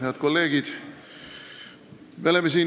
Head kolleegid!